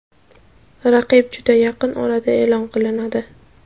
Raqib juda yaqin orada e’lon qilinadi.